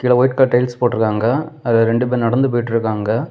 இங்க white colour tiles போட்ருக்காங்க அதுல ரெண்டு பேர் நடந்து போயிட்ருக்காங்க.